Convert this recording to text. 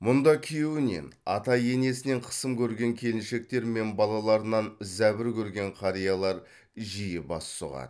мұнда күйеуінен ата енесінен қысым көрген келіншектер мен балаларынан зәбір көрген қариялар жиі бас сұғады